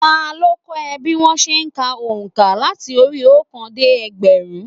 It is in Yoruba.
Ta ló kọ́ o bí wón se n ka ònkà láti orí óòkan dé ẹgbẹ̀rún